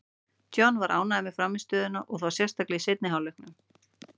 John var þó ánægður með frammistöðuna, og þá sérstaklega í seinni hálfleiknum.